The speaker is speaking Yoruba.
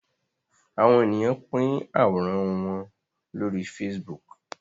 Àwọ̀n ènìyàn pin Àwòrán wón lórí Facebook.